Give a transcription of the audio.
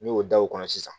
N'i y'o da o kɔnɔ sisan